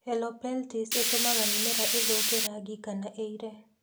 Helopeltis etũmaga mĩmera ĩthũke rangi kana ĩire.